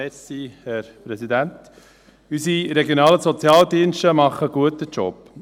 Unsere regionalen Sozialdienste machen einen guten Job.